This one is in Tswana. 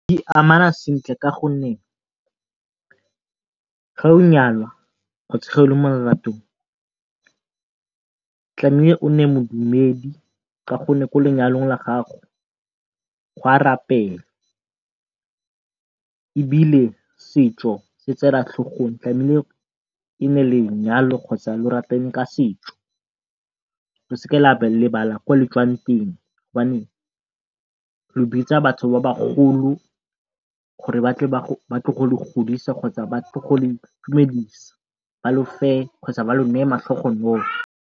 Di amana sentle ka gonne ge o nyalwa mo leratong o nne modumedi ka gonne ko lenyalong la gago gwa rapelwa, ebile setso se se tseelwa tlhogong e nne lenyalo kgotsa le ka setso. Le seke la lebala ko letswang teng go le bitsa batho ba bagolo gore batle gore ba tle go le godisa kgotsa ba tle go le itumedisa ba lo fe kgotsa ba lo neye matlhogonolo.